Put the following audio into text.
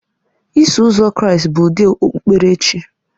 Iso Ụzọ Kraịst bụ ụdị okpukpere chi